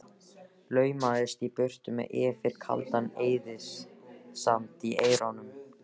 Laumaðist í burtu með Yfir kaldan eyðisand í eyrunum.